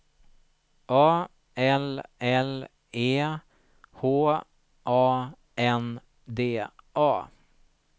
A L L E H A N D A